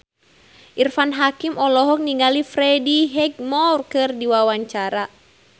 Irfan Hakim olohok ningali Freddie Highmore keur diwawancara